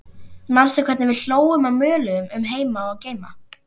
Manstu hvernig við hlógum og möluðum um heima og geima?